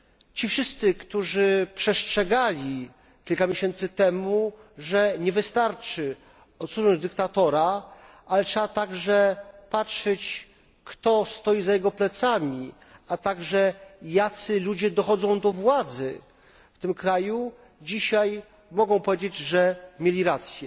Ci wszyscy, którzy postrzegali kilka miesięcy temu, że nie wystarczy odsunąć dyktatora, ale trzeba także patrzeć, kto stoi za jego plecami, a także jacy ludzie dochodzą do władzy w tym kraju, dzisiaj mogą powiedzieć, że mieli rację.